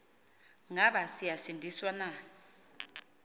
ngaba siyasindiswa na